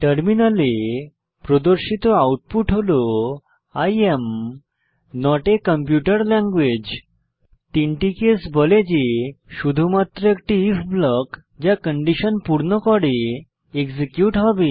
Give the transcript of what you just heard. টার্মিনালে প্রদর্শিত আউটপুট হল I am not a computer language 3 টি কেস বলে যে শুধুমাত্র একটি আইএফ ব্লক যা কন্ডিশন পূর্ণ করে এক্সিকিউট হবে